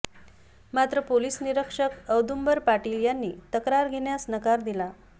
मात्र पोलीस निरीक्षक औदुंबर पाटील यांनी तक्रार घेण्यास नकार दिला